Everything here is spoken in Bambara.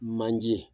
Manje